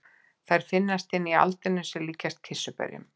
Þær finnast inni í aldinum sem líkjast kirsuberjum.